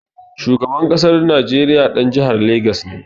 Shugaban ƙasar Najeriya ɗan jihar Legas ne.